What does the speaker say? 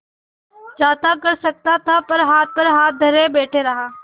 चाहता कर सकता था पर हाथ पर हाथ धरे बैठे रहा